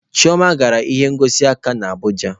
Chioma gara ihe ngosi nka na Abuja